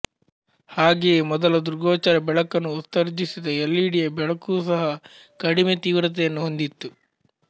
ಹಾಗೆಯೇ ಮೊದಲ ದೃಗ್ಗೋಚರ ಬೆಳಕನ್ನು ಉತ್ಸರ್ಜಿಸಿದ ಎಲ್ ಇ ಡಿಯ ಬೆಳಕು ಸಹ ಕಡಿಮೆ ತೀವ್ರತೆಯನ್ನು ಹೊಂದಿತ್ತು